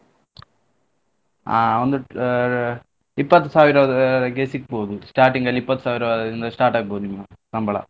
ಆ ಒಂದು ಆ ಇಪ್ಪತ್ತು ಸಾವಿರವರೆಗೆ ಸಿಗ್ಬಹುದು starting ಅಲ್ಲಿ ಇಪ್ಪತ್ತು ಸಾವಿರದಿಂದ start ಆಗ್ಬಹುದು ನಿಮ್ಮ ಸಂಬಳ.